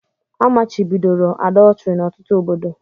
Amachibidoro àdọtrị n'ọtụtụ obodo